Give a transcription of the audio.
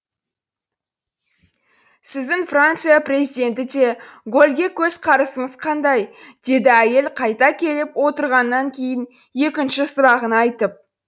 сіздің франция президенті де голльге көзқарасыңыз қандай деді әйел қайта келіп отырғаннан кейін екінші сұрағын айтып